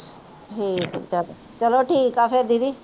ਚੱਲੋ ਠੀਕ ਆ ਫਿਰ ਦੀਦੀ।